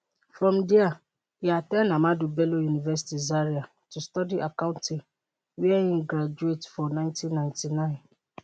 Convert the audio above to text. from dia e at ten d ahmadu bello university zaria to study accounting wia e graduate for nineteen ninety nine